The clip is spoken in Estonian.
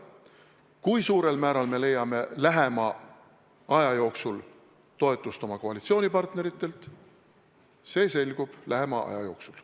Kui suurel määral me leiame toetust oma koalitsioonipartneritelt, see selgub lähima aja jooksul.